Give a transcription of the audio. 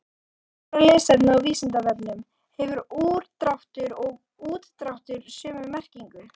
Frekara lesefni á Vísindavefnum: Hefur úrdráttur og útdráttur sömu merkingu?